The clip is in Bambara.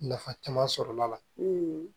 Nafa caman sɔrɔla